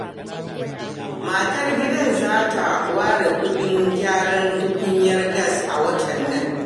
Matar gidan za ta ware kuɗin gyaran tukunyar gas a watan nan.